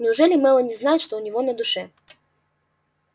неужели мелани знает что у него на душе